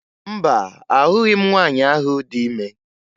Mba, ahụghị m nwaanyị ahụ dị ime